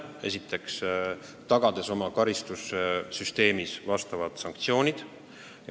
Esiteks, tagades oma karistussüsteemis sellekohased sanktsioonid.